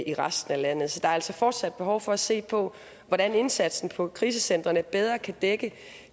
i resten af landet så der er altså fortsat behov for at se på hvordan indsatsen på krisecentrene bedre kan dække